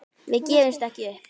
Við gefumst ekkert upp.